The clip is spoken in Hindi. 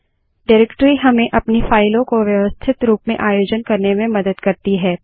डाइरेक्टरी हमें अपनी फाइलों को व्यवस्थित रूप में आयोजन करने में मदद करती है